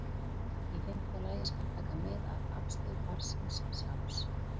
Í fimmta lagi skal taka mið af afstöðu barnsins sjálfs.